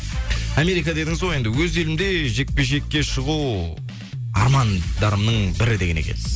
америка дедіңіз ғой енді өз елімде жекпе жекке шығу армандарымның бірі деген екенсіз